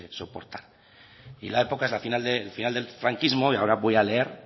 soportar y la época es el final del franquismo y ahora